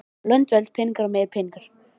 Lönd, völd, peningar og meiri peningar.